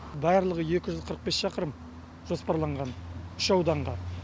барлығы екі жүз қырық бес шақырым жоспарланған үш ауданға